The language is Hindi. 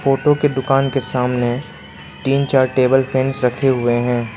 फोटो की दुकान के सामने तीन चार टेबल फैंस रखे हुए हैं।